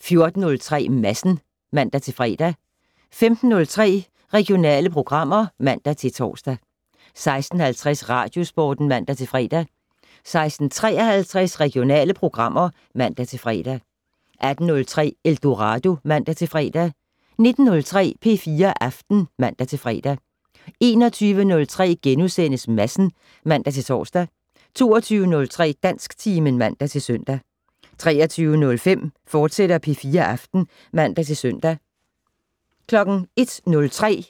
14:03: Madsen (man-fre) 15:03: Regionale programmer (man-tor) 16:50: Radiosporten (man-fre) 16:53: Regionale programmer (man-fre) 18:03: Eldorado (man-fre) 19:03: P4 Aften (man-fre) 21:03: Madsen *(man-tor) 22:03: Dansktimen (man-søn) 23:05: P4 Aften, fortsat (man-søn) 01:03: